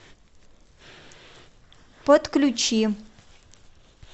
подключи